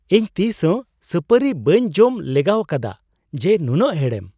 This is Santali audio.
ᱤᱧ ᱛᱤᱥ ᱦᱚᱸ ᱥᱟᱹᱯᱟᱹᱨᱤ ᱵᱟᱹᱧ ᱡᱚᱢ ᱞᱮᱜᱟᱣᱟᱠᱟᱫᱟ ᱡᱮ ᱱᱩᱱᱟᱹᱜ ᱦᱮᱲᱮᱢ !